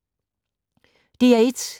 DR1